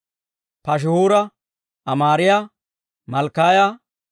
Paashihuura, Amaariyaa, Malkkiyaa,